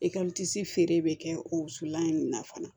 feere bɛ kɛ o wusulan in na fana